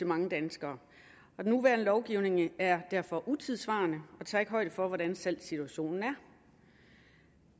mange danskere og den nuværende lovgivning er derfor utidssvarende og tager ikke højde for hvordan salgssituationen er